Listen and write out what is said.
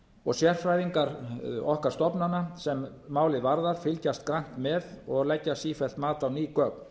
og sérfræðingar okkar stofnana sem málið varðar fylgjast grannt með og leggja sífellt mat á ný gögn